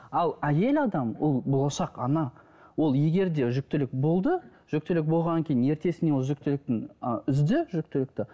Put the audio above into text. ал әйел адам ол болашақ ана ол егер де жүкітілік болды жүкітілік болғаннан кейін ертесіне ол жүкітілктің і үзді жүкітілікті